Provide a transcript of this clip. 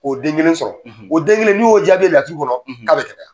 O den kelen sɔrɔ, , o den kelen n'i y'o jaabi ye laturu kɔnɔ, , k'a bɛ gɛlɛya.